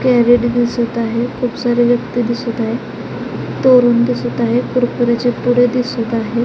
Crate दिसत आहेत खूप सारे व्यक्ति दिसत आहेत तोरण दिसत आहेत कुरकुरयाचे पुडे दिसत आहेत.